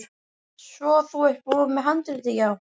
Svo þú ert búinn með handritið, já.